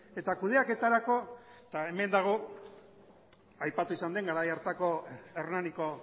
eta kudeaketarako eta hemen dago aipatu izan den garai hartako hernaniko